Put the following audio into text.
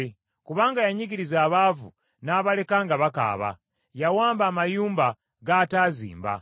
kubanga yanyigiriza abaavu n’abaleka nga bakaaba, yawamba amayumba g’ataazimba.